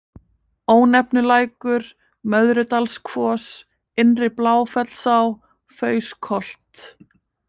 Ónefnulækur, Möðrudalskvos, Innri-Bláfellsá, Fauskholt